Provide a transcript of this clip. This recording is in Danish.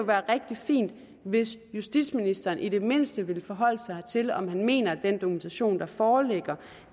være rigtig fint hvis justitsministeren i det mindste ville forholde sig til om han mener at den dokumentation der foreligger